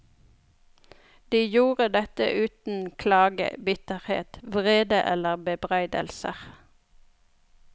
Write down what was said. De gjorde dette uten klage, bitterhet, vrede eller bebreidelser.